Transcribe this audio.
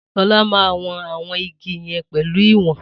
Sola má won àwọn igi yen pelu ìwòn